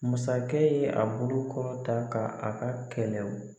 Masakɛ ye a bolo kɔrɔ ta ka a ka kɛlɛ o